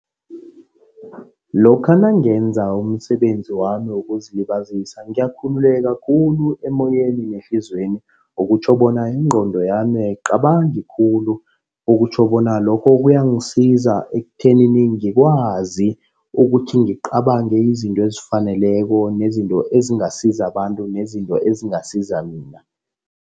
Lokha nangenza umsebenzi wami wokuzilibazisa ngiyakhululeka khulu emoyeni nehliziyweni. Okutjho bona ingqondo yami ayicabangi khulu. Okutjho bona lokho kuyangisiza ekuthenini ngikwazi ukuthi ngicabange izinto ezifaneleko, nezinto ezingasiza abantu nezinto ezingasiza mina.